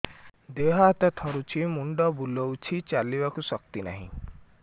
ଦେହ ହାତ ଥରୁଛି ମୁଣ୍ଡ ବୁଲଉଛି ଚାଲିବାକୁ ଶକ୍ତି ନାହିଁ